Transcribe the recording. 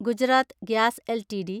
Gujarat gas LTD